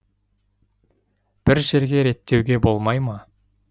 бір жерге реттеуге болмай ма